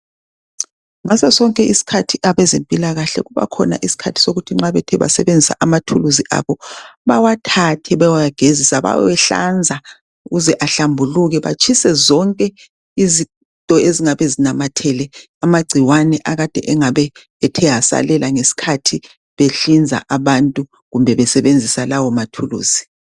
ngaso sonke isikhathi abezempilakahle kubakhona isikhathi sokuthi nxa bethe basebenzisa amathuluzi abo bawathathe beyewagezisa beyewahlanza ukuze ahlambuluke batshise zonke izinto ezingabe zinamathele amagcikane akade engabe ethe asalela ngesikhathi behlinza abantu kumbe besebenzisa lawa mathuluzi